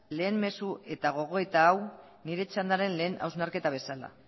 lehen mezu eta gogoeta hau nire txandaren lehen hausnarketa bezala